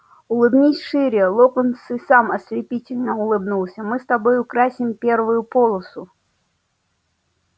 улыбнись шире локонс и сам ослепительно улыбнулся мы с тобой украсим первую полосу